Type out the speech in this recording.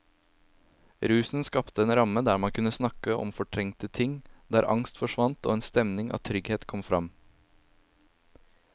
Rusen skapte en ramme der man kunne snakke om fortrengte ting, der angst forsvant og en stemning av trygghet kom fram.